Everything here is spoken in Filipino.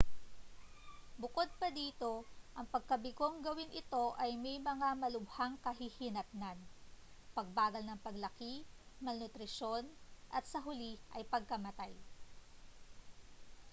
bukod pa dito ang pagkabigong gawin ito ay may mga malubhang kahihinatnan pagbagal ng paglaki malnutrisyon at sa huli ay pagkamatay